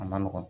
A ma nɔgɔn